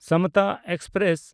Samata express